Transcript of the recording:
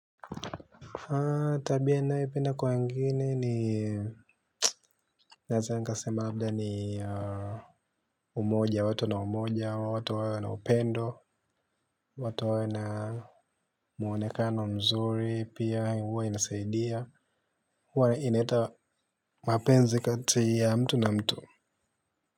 Aaah tabia ninayopenda kwa wengine ni naeza zangasema labda ni umoja wa watu wana umoja watu wawe na upendo watu wawe na muonekano mzuri pia huwa inasaidia huwa inaleta mapenzi kati ya mtu na mtu.